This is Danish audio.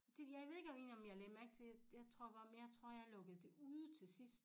De jeg ved ikke om jeg lagde mærke til det jeg tror bare men jeg lukkede det ude til sidst